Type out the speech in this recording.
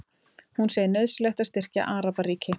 Hún segir nauðsynlegt að styrkja Arabaríki